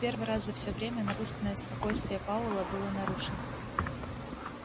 в первый раз за всё время напускное спокойствие пауэлла было нарушено